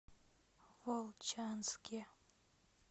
волчанске